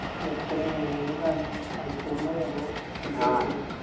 എത്രയാ എങ്ങനെയാ കാര്യങ്ങൾ മണിക്കൂറിന അതോ